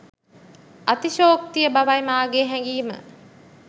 අතිශයෝක්තිය බවයි මාගේ හැගීම